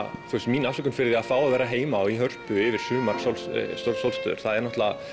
mín afsökun fyrir að fá að vera heima yfir sumarsólstöður sumarsólstöður það eru